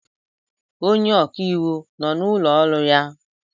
Onye ọka iwu nọ n'ụlọ ọrụ ya?